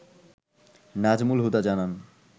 নাজমুল হুদা জানান